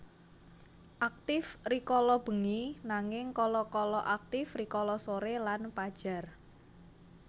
Aktif rikala bengi nanging kala kala aktif rikala sore lan pajar